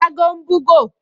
Ṣágo ń búgò